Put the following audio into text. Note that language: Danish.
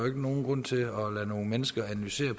ikke nogen grund til at lade nogle mennesker analysere